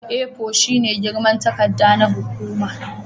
A4 shine girman takarda na hukuma